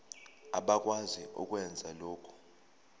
abakwazi ukwenza lokhu